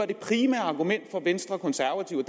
det primære argument for venstre konservative og